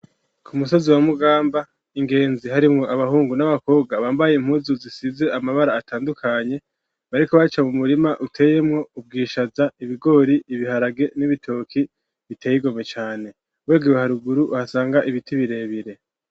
Ku musozi, wa Mugamba, ingenzi, harimwo, abahungu n'abakobwa; bambaye impuzu, zisize amabara atandukanye; bariko baca, mu murima uteyemwo: ubwishaza, ibigori, ibiharage, n'ibitoki; biteye igomwe cane; wigiwe haruguru, uhasanga, ibiti birebire.